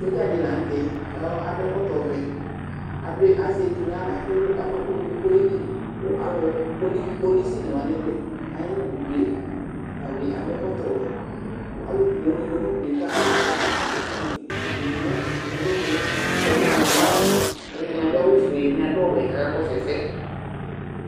Sɔdza dɩ la nʋ tɛ adʋ ɛkɔtɔvɛ adʋ azɛ etu nʋ aɣla kʋ ewu akɔ ɛkʋ nʋ unuku kʋ ɔyeli kʋ alʋ poli kpolisi alʋ wanɩ bɩ aya nʋ udu yɛ kʋ ata bɩ adʋ ɛkɔtɔwɛ kʋ alʋ poo dɩ kɔ nʋ udu kʋ ama i utitsu dɩnɩ nʋ alɔnu yɛ nʋ katikponu Alʋɛdɩnɩ adʋ awʋfue, ɛdɩnɩ adʋ ɔwɛ kʋ akakɔsʋ ɛsɛ